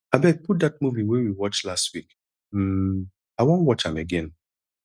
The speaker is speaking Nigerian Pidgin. abeg put dat movie wey we watch last week um i wan watch am again.